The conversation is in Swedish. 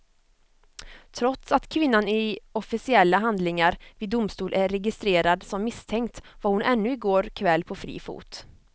Trots att kvinnan i officiella handlingar vid domstol är registrerad som misstänkt var hon ännu i går kväll på fri fot.